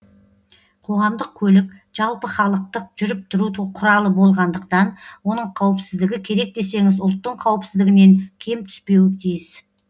қоғамдық көлік жалпыхалықтық жүріп тұру құралы болғандықтан оның қауіпсіздігі керек десеңіз ұлттың қауіпсіздігінен кем түспеуі тиіс